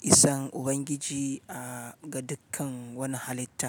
isan Ubangiji a ga dukkan wani halitta.